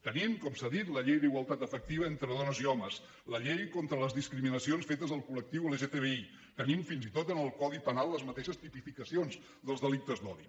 tenim com s’ha dit la llei d’igualtat efectiva entre dones i homes la llei contra les discriminacions fetes al col·lectiu lgtbi tenim fins i tot en el codi penal les mateixes tipificacions dels delictes d’odi